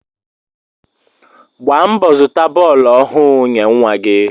Gbaa mbọ zụta bọọlu ohu nye nwa gi